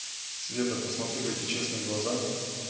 света посмотри в эти честные глаза